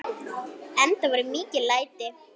Enda voru mikil læti.